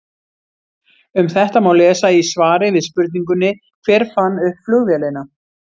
Um þetta má lesa í svari við spurningunni Hver fann upp flugvélina?